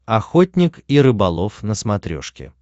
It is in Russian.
охотник и рыболов на смотрешке